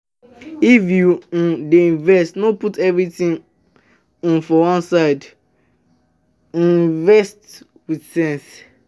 If you um dey invest, no put everything um for one place, um invest with sense.